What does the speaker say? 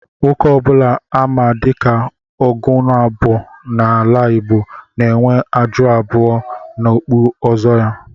Nwoke obula á ma diká "ùgonabọ " n'ala Igbo n'enwe ájụ́ abụọ n'okpú ọzọ ha